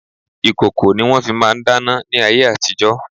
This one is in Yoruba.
Ìkòkò ni wọ́n fi máà ń dáná ní ayé àtijo.